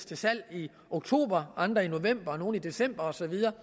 til salg i oktober andre i november nogle i december og så videre